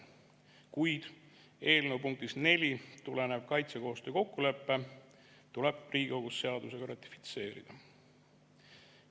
Kuid eelnõu punktist 4 tulenev kaitsekoostöö kokkulepe tuleb Riigikogus seadusega ratifitseerida.